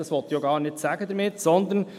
Dies möchte ich damit auch nicht sagen.